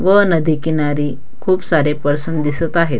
व नदी किनारी खूप सारे पर्सन दिसत आहेत.